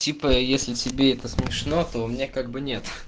типа если тебе это смешно то у меня как бы нет